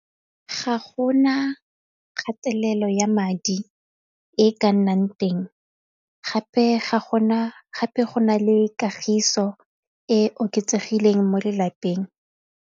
Ga go na kgatelelo ya madi e ka nnang teng gape go na le kagiso e oketsegileng mo lelapeng.